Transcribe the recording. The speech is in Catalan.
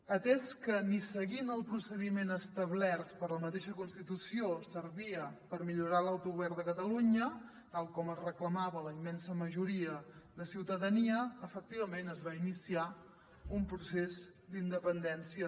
atès que ni seguint el procediment establert per la mateixa constitució servia per millorar l’autogovern de catalunya tal com reclamava la immensa majoria de ciutadania efectivament es va iniciar un procés d’independència